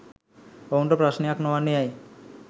ඔවුන්ට ප්‍රශ්නයක් නොවන්නේ ඇයි?